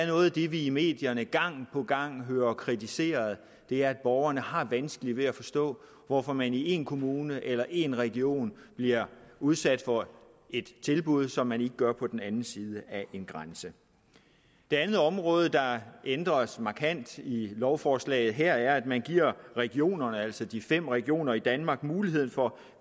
noget af det vi i medierne gang på gang hører kritiseret er at borgerne har vanskeligt ved at forstå hvorfor man i en kommune eller en region bliver udsat for et tilbud som man ikke gør på den anden side af en grænse det andet område der ændres markant i lovforslaget her er at man giver regionerne altså de fem regioner i danmark mulighed for